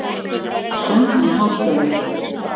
söng hún hástöfum.